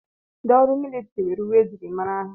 Ndị ọrụ militiri nwere uwe njirimara.